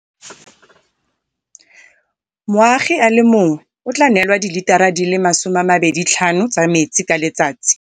Moagi a le mongwe o tla neelwa dilitara di le 25 tsa metsi ka letsatsi.